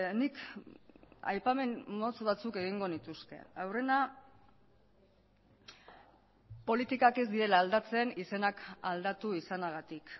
nik aipamen motz batzuk egingo nituzke aurrena politikak ez direla aldatzen izenak aldatu izanagatik